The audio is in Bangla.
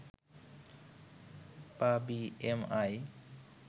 বা বি এম আই